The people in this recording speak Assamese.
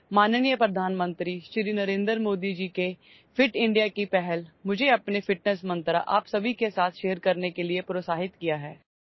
মাননীয় প্ৰধানমন্ত্ৰী শ্ৰী নৰেন্দ্ৰ মোদী ডাঙৰীয়াৰ ফিট ইণ্ডিয়াৰ পদক্ষেপে মোক মোৰ ফিটনেছ মন্ত্ৰ আপোনালোক সকলোৰে সৈতে শ্বেয়াৰ কৰিবলৈ অনুপ্ৰাণিত কৰিছে